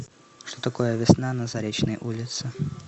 что такое весна на заречной улице